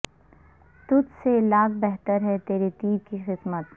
تجھ سے لاکھ بہتر ہے تیرے تیر کی قسمت